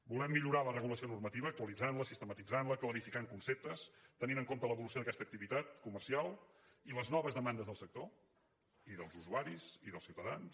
volem millorar la regulació normativa actualitzant la sistematitzant la clarificant conceptes tenint en compte l’evolució d’aquesta activitat comercial i les noves demandes del sector i dels usuaris i dels ciutadans